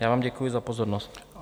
Já vám děkuji za pozornost.